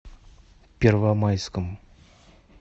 первомайском